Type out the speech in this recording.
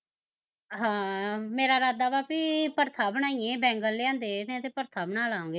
ਹਾਂ ਮੇਰਾ ਇਰਾਦਾ ਵਾਂ ਈ ਪੜਥਾ ਬਣਾਈਏ ਬੈਗਣ ਲਿਆਂਦੇ ਨੇ ਤੇ ਪੜਥਾਂ ਬਣਾ ਲਾ ਗੇ